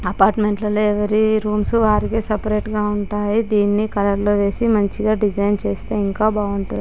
Apartment లలో every rooms వారికే separate గా ఉంటాయి. దీని కలర్ లు వేసి మంచిగా డిజైన్ చేస్తే ఇంకా బాగుంటుం--